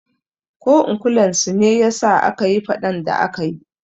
Ko in kulan su ne yasa akayi faɗan da akayi